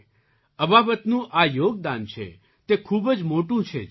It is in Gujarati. અબાબતનું આ યોગદાન છે તે ખૂબ જ મોટું છે જી